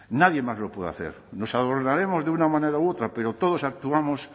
nadie más lo puede hacer los abordaremos de una manera u otra pero todos actuamos